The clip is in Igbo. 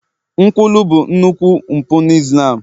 nkwulu bụ nnukwu mpụ na Islam